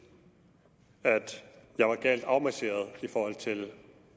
at jeg var galt afmarcheret i forhold til